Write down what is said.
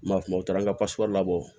N m'a kuma u taara n ka labɔ